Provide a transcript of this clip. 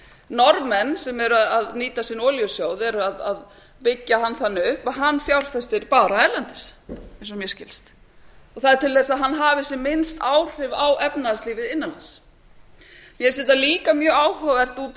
norðmenn sem eru að nýta sin olíusjóð eru að byggja hann þannig upp að hann fjárfestir bara erlendis eins og mér skilst og það er til að hann hafi sem minnst áhrif á efnahagslífið innan lands mér finnst þetta líka mjög áhugavert